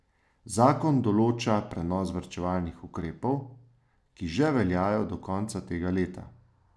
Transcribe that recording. Zakon določa prenos varčevalnih ukrepov, ki že veljajo do konca tega leta.